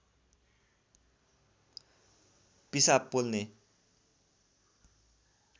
पिसाब पोल्ने